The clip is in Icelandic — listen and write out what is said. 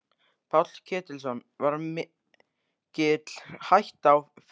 Páll Ketilsson: Var mikil hætta á ferðum?